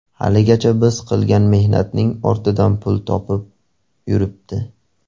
Haligacha biz qilgan mehnatning ortidan pul topib yuribdi.